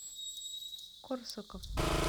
корсаков